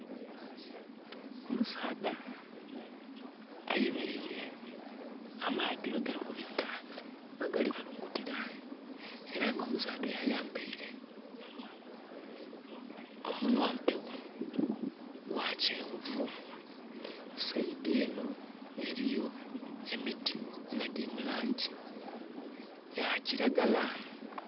Omusaadha ayemeleire amaadhi ghe gali kubita, ghe gali kulungutira, era nga omusaadha oyo ayambeire omunyampegho gwa kyenvu. Saidi enho eriyo emiti nga giri mu langi ya kiragala.